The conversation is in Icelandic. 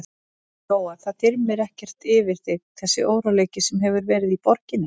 Lóa: Það þyrmir ekkert yfir þig þessi óróleiki sem hefur verið í borginni?